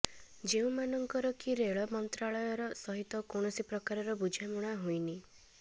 ଯେଉଁମାନଙ୍କର କି ରେଳ ମନ୍ତ୍ରାଳୟ ସହିତ କୌଣସି ପ୍ରକାରର ବୁଝାମଣା ହୋଇନି